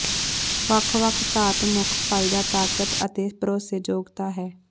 ਵੱਖ ਵੱਖ ਧਾਤ ਮੁੱਖ ਫਾਇਦਾ ਤਾਕਤ ਅਤੇ ਭਰੋਸੇਯੋਗਤਾ ਹੈ